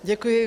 Děkuji.